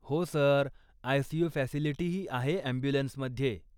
हो sir, ICU. फॅसिलिटीही आहे ॲम्ब्युलन्समध्ये.